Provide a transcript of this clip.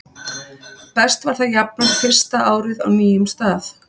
Best var það jafnan fyrsta árið á nýjum stað.